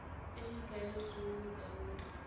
e e ikaeletsweng mo karolong